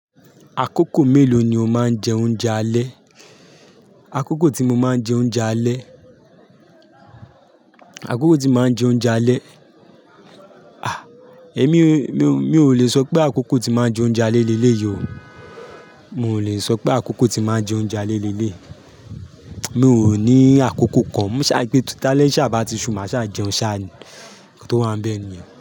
Àkókò mélòó ni o máa ń jẹ oúnjẹ alẹ́? Àkókò tí mo máa ń jẹ oúnjẹ alẹ́, àkókò tí mo máa ń jẹ oúnjẹ alẹ́. A! Èmi, mi, mi ò lè sọ pé àkókò tí màá jẹ oúnjẹ alẹ́ léyìí o. Mi ò lè sọ pé àkókò tí màá jẹ oúnjẹ alẹ́ lélè. Mi ò ní àkókò kan. Ṣàa pé ta lé ṣá bá ti ṣú, màá ṣá jẹun ṣáa, nǹkan tó wà ńbẹ̀ nìyẹn.